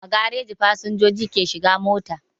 A gareji fasinjoji ke shiga mota